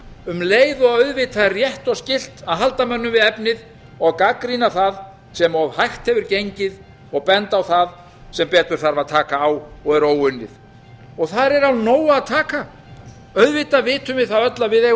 um leið og auðvitað er rétt og skylt að halda mönnum við efnið og gagnrýna það sem of hægt hefur gengið og bent á það sem betur þarf að taka á og er óunnið þar er af nógu a taka auðvitað vitum við það öll að við eiga